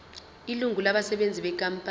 ilungu labasebenzi benkampani